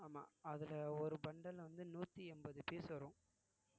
ஆமா அதுல ஒரு bundle ல வந்து நூத்தி எண்பது piece வரும்